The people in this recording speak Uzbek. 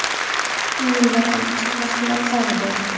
Uyimda ham kichik mashg‘ulot zali bor.